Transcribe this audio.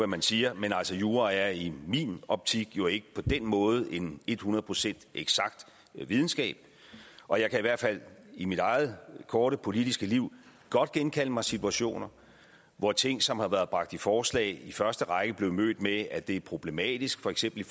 man siger men jura er i min optik jo ikke på den måde en hundrede procent eksakt videnskab og jeg kan i hvert fald i mit eget korte politiske liv godt genkalde mig situationer hvor ting som har været bragt i forslag i første række blev mødt med at det er problematisk for eksempel i